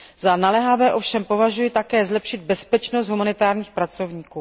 Za naléhavé ovšem považuji také zlepšit bezpečnost humanitárních pracovníků.